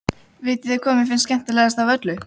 Vitiði hvað mér finnst skemmtilegast af öllu?